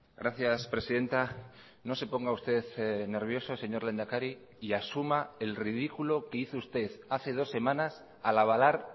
gracias presidenta no se ponga usted nervioso señor lehendakari y asuma el ridículo que hizo usted hace dos semanas al avalar